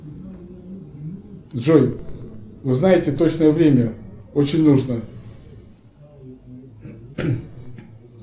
джой узнайте точное время очень нужно